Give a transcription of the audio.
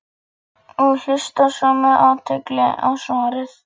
og hlusta svo með athygli á svarið.